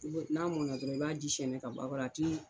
U bɛ n'a mɔna dɔrɔn i b'a ji sɛɛnɛ ka b'a kɔrɔ a ti